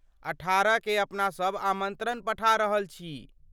अठारह केँ अपनासब आमन्त्रण पठा रहल छी।